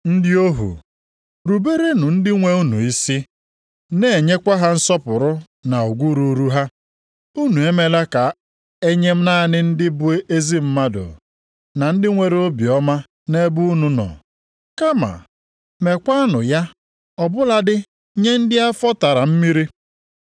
Ndị ohu, ruberenụ ndị nwe unu isi, na-enyekwa ha nsọpụrụ na ugwu ruuru ha. Unu emela nke a nye naanị ndị bụ ezi mmadụ, na ndị nwere obiọma nʼebe unu nọ, kama meekwanụ ya ọ bụladị nye ndị afọ tara mmiri.